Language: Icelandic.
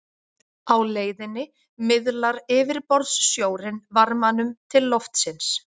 á leiðinni miðlar yfirborðssjórinn varmanum til loftsins